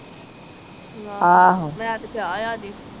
ਆਹ